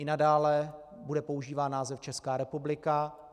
I nadále bude používán název Česká republika.